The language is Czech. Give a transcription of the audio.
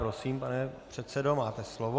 Prosím, pane předsedo, máte slovo.